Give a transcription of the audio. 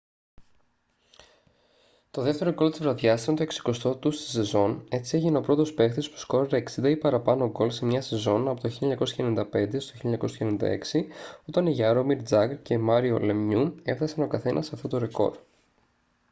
το δεύτερο γκολ της βραδιάς ήταν το 60ο του στη σεζόν έτσι έγινε ο πρώτος παίκτης που σκόραρε 60 ή παραπάνω γκολ σε μια σεζόν από το 1995-96 όταν οι γιάρομιρ τζαγκρ και μάριο λεμιού έφτασαν ο καθένας αυτό το ρεκόρ